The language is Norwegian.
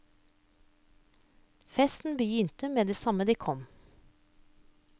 Festen begynte med det samme de kom.